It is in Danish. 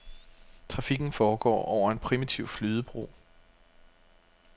Trafikken foregår over en primitiv flydebro.